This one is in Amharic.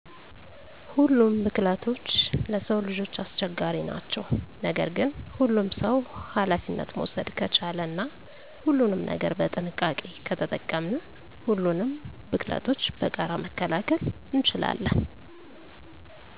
ሁሉም ቡክለቶች ለስዉ ልጆች አስቸጋሪ ናቸዉ። ነገር ግን ሁሉም ሰዉ አላፊነት መዉሰደ ከቻለ እና ሁሉንም ነገር በጥንቃቄ ከተጠቀምን ሁሉንም ቡክለቶች በጋራ መከላከል እንችላለን።